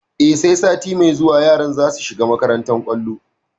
E, sai sati mai zuwa yaran za su shiga makantar kwallon.